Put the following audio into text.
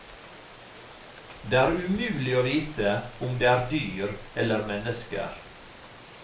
Det er umulig å vite om det er dyr eller mennesker.